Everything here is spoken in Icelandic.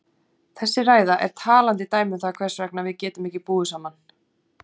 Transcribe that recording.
Þessi ræða er talandi dæmi um það hvers vegna við getum ekki búið saman.